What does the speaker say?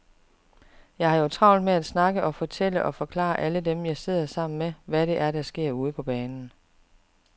Jeg har jo travlt med at snakke og fortælle og forklare alle dem, jeg sidder sammen med, hvad det er, der sker ude på banen.